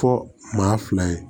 Fɔ maa fila ye